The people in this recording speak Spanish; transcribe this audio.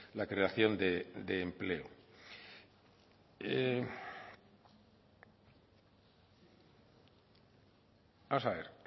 la creación de empleo vamos a ver